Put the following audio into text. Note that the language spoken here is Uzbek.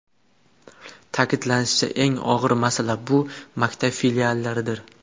Ta’kidlanishicha, eng og‘ir masala bu maktab filiallaridir.